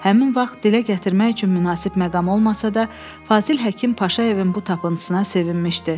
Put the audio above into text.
Həmin vaxt dilə gətirmək üçün münasib məqam olmasa da, Fazil Həkim Paşayevin bu tapıncısına sevinmişdi.